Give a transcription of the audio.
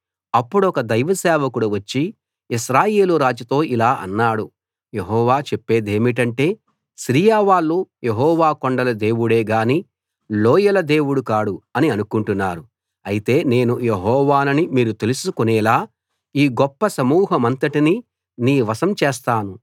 అప్పుడొక దైవ సేవకుడు వచ్చి ఇశ్రాయేలు రాజుతో ఇలా అన్నాడు యెహోవా చెప్పేదేమిటంటే సిరియా వాళ్ళు యెహోవా కొండల దేవుడే గాని లోయల దేవుడు కాడు అని అనుకుంటున్నారు అయితే నేను యెహోవానని మీరు తెలుసుకొనేలా ఈ గొప్ప సమూహమంతటినీ నీ వశం చేస్తాను